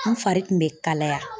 N fari kun bɛ kalaya.